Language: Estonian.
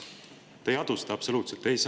Te ei adu seda absoluutselt!